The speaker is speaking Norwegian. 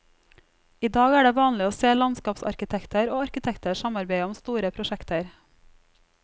I dag er det vanlig å se landskapsarkitekter og arkitekter samarbeide om store prosjekter.